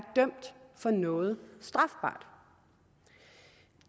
dømt for noget strafbart